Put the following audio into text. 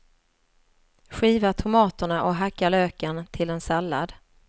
Skiva tomaterna och hacka löken till en sallad.